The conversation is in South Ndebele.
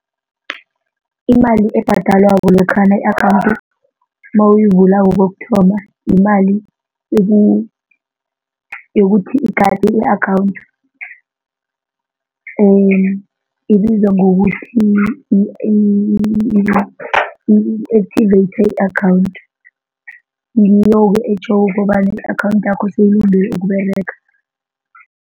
Imali ebhadalwako lokhana i-akhawundi nawuyivulako kokuthoma yimali yokuthi igade i-akhawunthi ibizwa ngokuthi yi-activate i-akhawundi ngiyoke etjhoko kobana i-akhawundi yakho seyikulungele ukUberega.